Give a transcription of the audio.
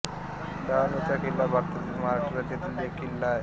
डहाणूचा किल्ला भारतातील महाराष्ट्र राज्यातील एक किल्ला आहे